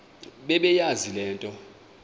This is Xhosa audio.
bebeyazi le nto